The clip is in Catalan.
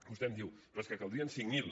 vostè em diu però és que en caldrien cinc mil